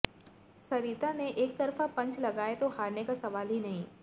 सरिता ने एकतरफा पंच लगाए तो हारने का सवाल ही नहीं